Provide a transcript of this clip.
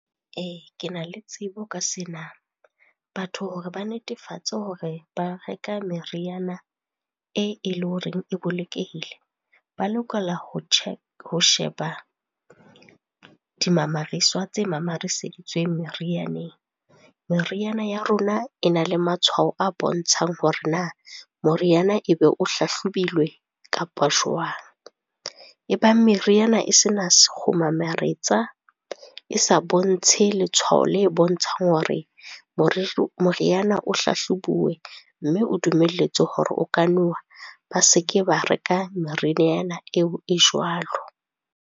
Ke na le tsebo ka sena. Batho hore ba netefatse hore ba reka meriana e eleng horeng e bolokehile, ba lokela ho , ho sheba dimamariswa tse mamariseditsweng merianeng. Meriana ya rona e na le matshwao a bontshang hore na moriana ebe o hlahlobilwe kapa jwang. Ebang meriana e sena sekgomaretswa, e sa bontshe letshwao le bontshang hore moriana o hlahlobuwe mme o dumelletswe hore o ka nowa, ba seke ba reka meriana eo e jwalo.